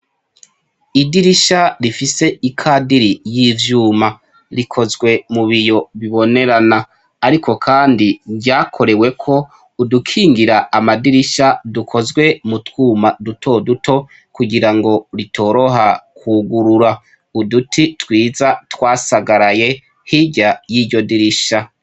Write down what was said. Idirisha rifise ikadiri y' ivyuma rikozwe mubiyo bibonerana ariko kandi ryakoreweko udukingira amadirisha dukozwe mutwuma duto duto kugira ngo bitoraha kwugurura uduti twiza twasagaraye hirya yiryo dirisha.